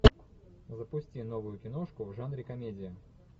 запусти новую киношку в жанре комедия